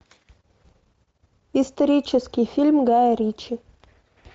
исторический фильм гая ричи